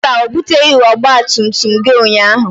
Mba, o buteghị ọgba tum tum gị ụnyaahụ